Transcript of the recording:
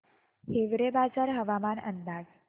हिवरेबाजार हवामान अंदाज